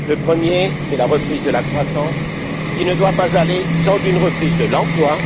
Le premier, c'est la reprise de la croissance, qui ne doit pas aller sans une reprise de l'emploi.